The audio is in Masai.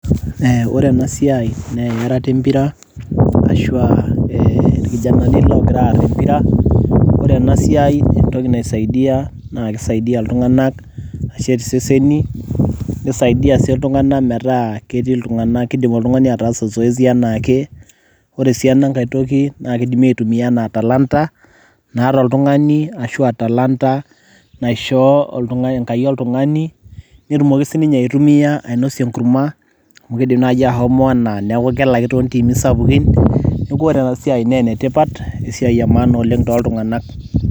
Ore enasiai, naa earata empira, ashua irkijanani logira aar empira. Ore enasiai entoki naisaidia, na kisaidia iltung'anak ashet iseseni, nisaidia si iltung'anak metaa ketii iltung'anak kidim oltung'ani ataasa zoezi enaake. Ore si ena nkae toki, na kidimi aitumia enaa talanta naata oltung'ani, ashua talanta naishoo Enkai oltung'ani, netumoki sininye aitumia ainosie enkurma, amu kiidim nai ashomo enaa neku kelaki tontiimi sapukin, neeku ore enasiai ne enetipat, esiai emaana oleng' toltung'anak.